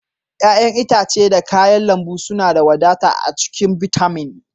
ƴa'ƴan itace da kayan lambu suna da wadata a cikin bitamin.